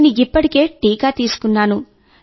నేను ఇప్పటికే టీకా తీసుకున్నాను